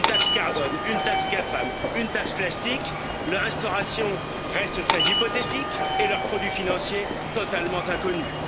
Une taxe carbone, une taxe GAFAM, une taxe plastique dont l'instauration reste très hypothétique et les produits financiers totalement inconnus.